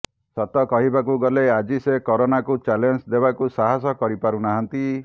ସତ କହିବାକୁ ଗଲେ ଆଜି ସେ କରୋନାକୁ ଚ୍ୟାଲେଞ୍ଜ ଦେବାକୁ ସାହାସ କରିପାରୁନାହାନ୍ତି